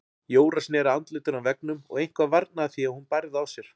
Jóra sneri andlitinu að veggnum og eitthvað varnaði því að hún bærði á sér.